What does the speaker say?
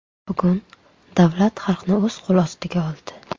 Bugun davlat xalqni o‘z qo‘l ostiga oldi.